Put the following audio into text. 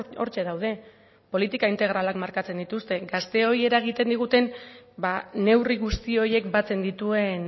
hortxe daude politika integralak markatzen dituzte gazteoi eragiten diguten neurri guzti horiek batzen dituen